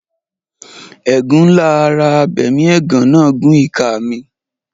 Ẹ̀gún ńlá ara abẹmiẹ̀gán náà gún ìka mi.